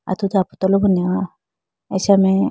atudi apotolo b nehowa acha mai.